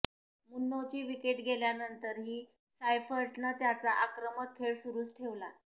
मुन्रोची wicket गेल्यानंतरही सायफर्टनं त्याचा आक्रमक खेळ सुरुच ठेवला